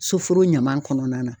Soforo ɲaman kɔnɔna na